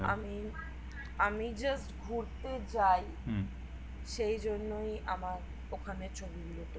আমি just ঘুরতে যাই সে জন্যই আমার ওখানে ছবি গুলো